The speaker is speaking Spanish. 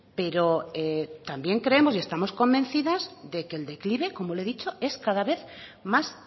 pero también creemos y estamos convencidas de que el declive como le he dicho es cada vez más